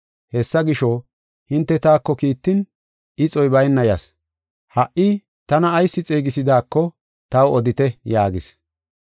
Hessa gisho, hinte taako kiittin ixoy bayna yas. Ha77i tana ayis xeegisidaako taw odite” yaagis.